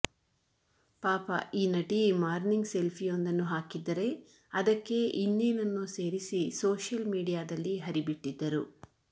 ಪಾಪ ಈ ನಟಿ ಮಾರ್ನಿಂಗ್ ಸೆಲ್ಫಿಯೊಂದನ್ನು ಹಾಕಿದ್ದರೆ ಅದಕ್ಕೆ ಇನ್ನೇನನ್ನೋ ಸೇರಿಸಿ ಸೋಶಿಯಲ್ ಮೀಡಿಯಾದಲ್ಲಿ ಹರಿ ಬಿಟ್ಟಿದ್ದರು